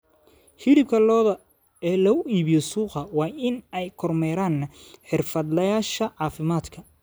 Hilibka lo'da ee lagu iibiyo suuqa waa in ay kormeeraan xirfadlayaasha caafimaadka.